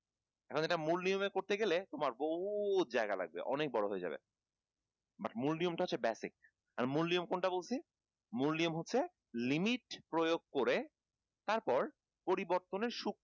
এখন এটা মূল নিয়মে করতে গেলে তোমার বহু জায়গা লাগবে অনেক বড় হয়ে যাবে but মূল নিয়মটা হচ্ছে basic আর মূল নিয়ম কোনটা বলছি? মূল নিয়ম হচ্ছে limit প্রয়োগ করে তারপর পরিবর্তনের